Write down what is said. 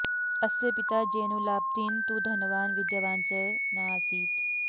अस्य पिता जैनुलाब्दीन् तु धनवान् विद्यावान् च नासीत्